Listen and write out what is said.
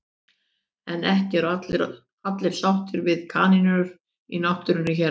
En ekki eru allir sáttir við kanínur í náttúrunni hér á landi.